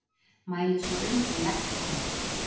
Mæli svo um og legg á!